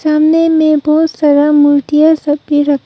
सामने मे बहोत सारा मूर्तियां सब भी रख--